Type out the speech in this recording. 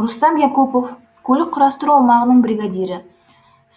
рустам якупов көлік құрастыру аумағының бригадирі